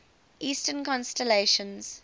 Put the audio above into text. eastern constellations